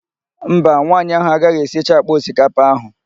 Mba, nwaanyị ahụ agaghị esicha àkpà osikapa ahụ.